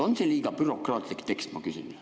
On see liiga bürokraatlik tekst, ma küsin.